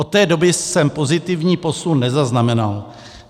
Od té doby jsem pozitivní posun nezaznamenal.